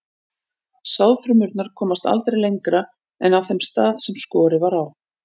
Sáðfrumurnar komast aldrei lengra en að þeim stað sem skorið var á.